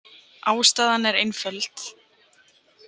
Ástæðan er einföld.